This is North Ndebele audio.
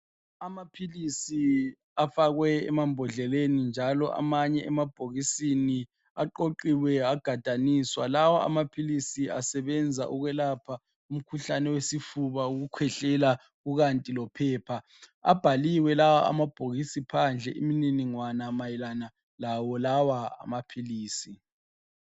Amaphilisi afakwe emambodleleni njalo amanye emabhokisini. Aqoqiwe agadaniswa. Lawo amaphilisi asebenza ukwelapha umkhuhlane wesifuba ukukhwehlela kukanti lophepha. Abhaliwe lawa amabhokisi phandle imininingwanga mayelana lawo lawa amaphilisi.